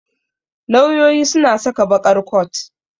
Lauyoyi suna saka baƙar coat.